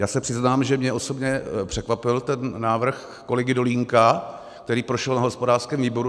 Já se přiznám, že mě osobně překvapil ten návrh kolegy Dolínka, který prošel na hospodářském výboru.